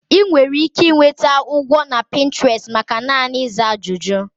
Ị nwere ike nweta ụgwọ na Pinterest maka naanị ịza ajụjụ.